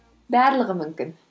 барлығы мүмкін